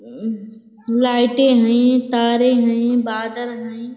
लाईटें हईं तारें हईं बादल हईं।